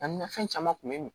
A ni fɛn caman kun bɛ n bolo